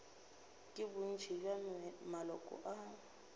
ke bontši bja maloko a